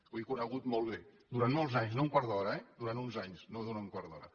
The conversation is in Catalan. ho he conegut molt bé durant molts anys no un quart d’hora eh durant uns anys no durant un quart d’hora